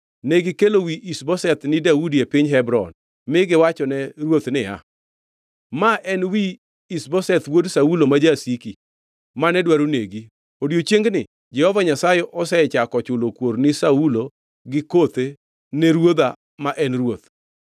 Negikelo wi Ish-Boseth ni Daudi e piny Hebron mi giwachone ruoth niya, “Ma en wi Ish-Boseth wuod Saulo ma jasiki, mane dwaro negi. Odiechiengni Jehova Nyasaye osechako chulo kuor ni Saulo gi kothe ne ruodha ma en ruoth.”